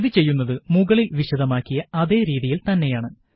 ഇത് ചെയ്യുന്നത് മുകളില് വിശദമാക്കിയ അതേ രീതിയില് തന്നെയാണ്